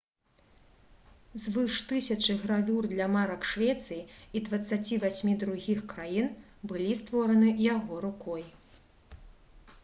звыш 1000 гравюр для марак швецыі і 28 другіх краін былі створаны яго рукой